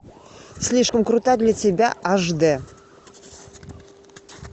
слишком крута для тебя аш дэ